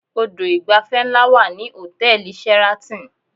Odò ìgbafẹ́ ńlá wà ní hòtẹ́ẹ̀lì Sheraton